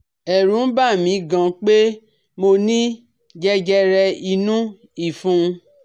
Ẹ̀rù n bà mi gan pé mo ní jẹjẹrẹ inú ìfun